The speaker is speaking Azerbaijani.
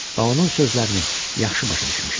Və onun sözlərini yaxşı başa düşmüşəm.